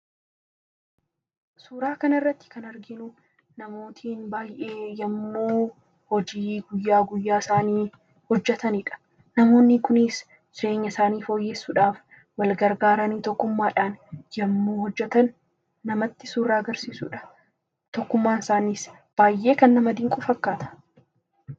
Suuraa kanarratti kan arginu namootni baay'een yommuu hojjii guyyaa guyyaa isaanii hojjataidha. Namoonni kunis jireenya isaanii fooyyeesssuudhaaf wal gargaaranii tokkummaadhaan yommuu hojjatan namatti suuraa kan suuraa agarsiisudha. Tokkummaan isaaniis kan nama dinqu fakkaata.